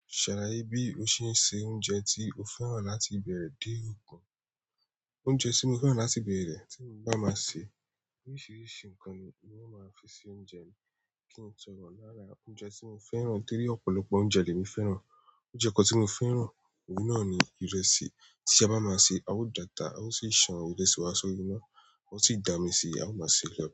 Ṣàlàyé bí o ṣe ń se oúnjẹ tí o fẹ́ràn láti ìbẹ̀rẹ̀ dé òkùn. Oúnjẹ tí mo fẹ́ràn láti ìbẹ̀rẹ̀ tí mo bá máa se, oríṣìíríṣìí nǹkan ni wọn máa fi ṣe oúnjẹ mi, kí n sọ̀rọ̀ lára oúnjẹ tí mo fẹ́ràn, torí ọ̀pọ̀lọpọ̀ oúnjẹ ni èmi fẹ́ràn. Oúnjẹ kan tí mo fẹ́ràn, òun náà ni ìrẹsì. Tí a bá máa se, a ó data, a ó sì ṣe ìṣàn ìrẹsì wa sórí iná, ó sì dà mí síi, a ó máa se lọ́wọ́.